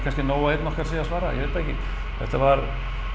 nóg að einn okkar sé að svara ég veit það ekki þetta var